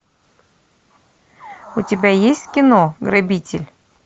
у тебя есть кино грабитель